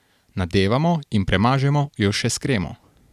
Nadevamo in premažemo jo še s kremo.